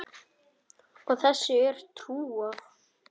Og þessu er trúað.